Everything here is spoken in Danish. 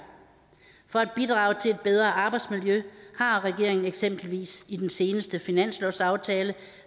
for at bidrage til et bedre arbejdsmiljø har regeringen eksempelvis i den seneste finanslovsaftale